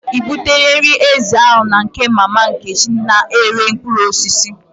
I butela nri ezi ahụ na nke mama Nkechi na-ere mkpụrụ osisi?